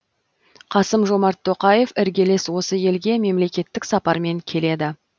қасым жомарт тоқаев іргелес осы елге мемлекеттік сапармен келеді